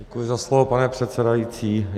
Děkuji za slovo, pane předsedající.